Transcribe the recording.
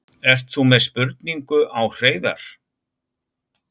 Ert þú með spurningu á Hreiðar?